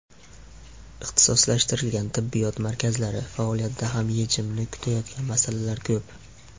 Ixtisoslashtirilgan tibbiyot markazlari faoliyatida ham yechimini kutayotgan masalalar ko‘p.